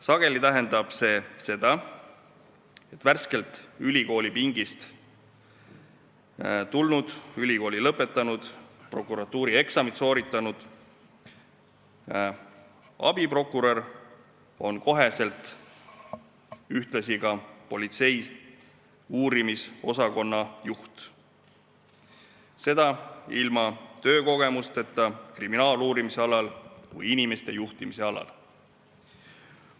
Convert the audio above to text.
Sageli tähendab see seda, et värskelt ülikoolipingist tulnud, ülikooli lõpetanud, prokuratuurieksamid sooritanud abiprokurör on kohe ühtlasi politsei uurimisosakonna juht, seda ilma töökogemusteta kriminaaluurimise või inimeste juhtimise alal.